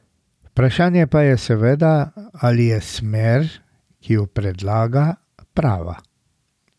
Vprašanje pa je seveda, ali je smer, ki jo predlaga, prava.